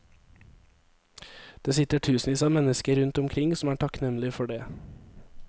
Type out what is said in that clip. Det sitter tusenvis av mennesker rundt omkring som er takknemlig for det.